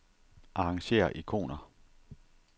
Arrangér ikoner.